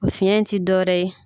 Fiɲɛ in ti dɔ wɛrɛ ye